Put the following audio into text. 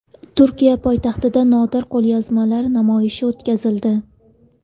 Turkiya poytaxtida nodir qo‘lyozmalar namoyishi o‘tkazildi.